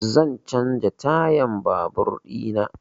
Zan canza tayan babur ina